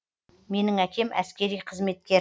менің әкем әскери қызметкер